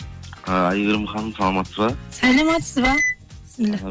ы әйгерім ханым саламатсыз ба саламатсыз ба